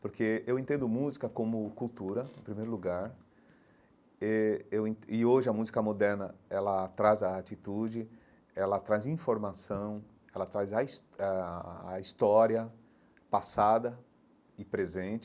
Porque eu entendo música como cultura, em primeiro lugar eh, eu en e hoje a música moderna, ela traz a atitude, ela traz informação, ela traz a his eh a a história passada e presente,